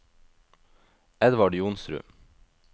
Edvard Johnsrud